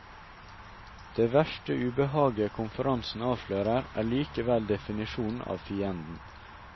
Det verste ubehaget konferansen avslører er likevel definisjonen av fienden.